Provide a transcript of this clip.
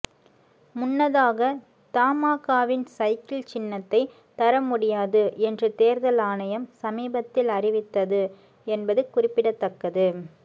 முன்னதாக தமாகவின் சைக்கிள் சின்னத்தை தரமுடியாது என்று தேர்தல் ஆணையம் சமீபத்தில் அறிவித்தது என்பது குறிப்பிடத்தக்கது